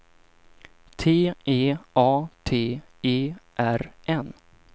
T E A T E R N